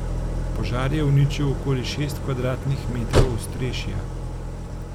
Požar je uničil okoli šest kvadratnih metrov ostrešja.